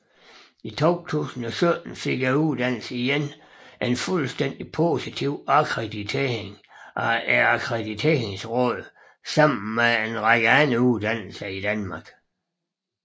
I 2017 fik uddannelsen igen en fuldstændig positiv akkreditering af Akkrediteringsrådet sammen med en række andre uddannelser i Danmark